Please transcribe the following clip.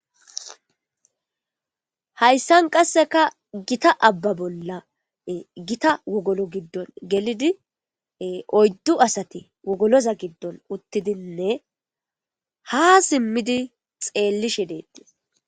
Hayssan qasseka gita abba bolla gita wogolo giddon gelidi oyddu asati wogoloza giddon uttidinne ha simmidi xeellishe deettiis.